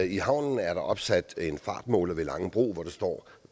i havnen er der opsat en fartmåler ved langebro hvor der står